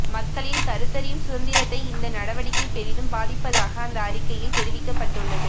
மக்களின் கருத்தறியும் சுதந்திரத்தை இந்த நடவடிக்கை பெரிதும் பாதிப்பதாக அந்த அறிக்கையில் தெரிவிக்கப்பட்டுள்ளது